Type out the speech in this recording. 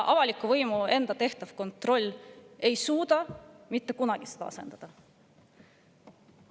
Avaliku võimu tehtav kontroll ei suuda seda asendada.